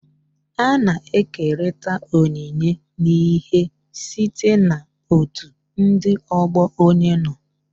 A na-ekerịta onyinye n'ihe site na otu ndị ọgbọ onye nọ.